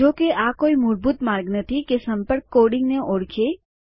જો કેઆ કોઈ મૂળભૂત માર્ગ નથી કે સંપર્ક કોડીંગને ઓળખે